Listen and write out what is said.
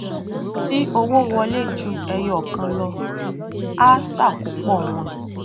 tí owó wọlé ju ẹyọ kan lọ a ṣàkópọ wọn